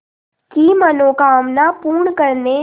की मनोकामना पूर्ण करने